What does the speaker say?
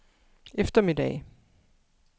eftermiddag